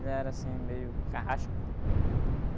Ele era assim, meio carrasco.